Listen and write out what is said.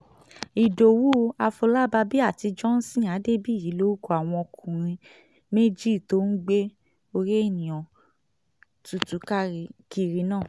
ìdòwú afọlábàbí àti johnson adébíyí lorúkọ àwọn ọkùnrin méjì tó ń gbé orí èèyàn tútù kiri náà